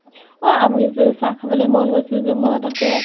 অ আমি যে চাহ খাবলৈ মন গৈছিল যে মনত আছে?